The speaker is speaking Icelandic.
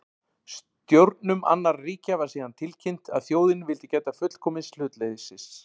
Stjórnum annarra ríkja var síðan tilkynnt, að þjóðin vildi gæta fullkomins hlutleysis